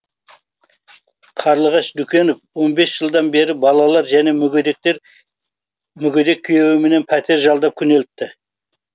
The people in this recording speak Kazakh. қарлығаш дүкенов он бес жылдан бері балалар және мүгедек күйеуіменен пәтер жалдап күнелтті